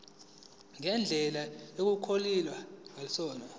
ngendlela okungakhonakala ngayo